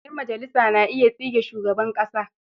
Ƴan majalisa na iya tsige shugaban ƙasa.